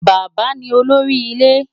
Bàbá ni olórí ilé.